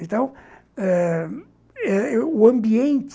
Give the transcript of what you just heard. Então ãh... o ambiente...